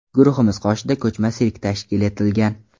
Guruhimiz qoshida ko‘chma sirk tashkil etilgan.